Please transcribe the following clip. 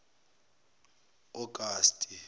augusti